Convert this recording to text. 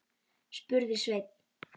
spurði Sveinn.